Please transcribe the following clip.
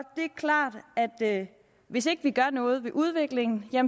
klart at hvis ikke vi gør noget ved udviklingen